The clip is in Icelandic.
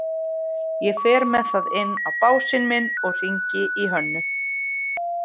Ég fer með það inn á básinn minn og hringi í Hönnu.